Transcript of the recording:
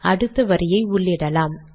அடுத்த வரியை உள்ளிடலாம்